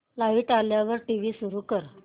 light आल्यावर TV सुरू कर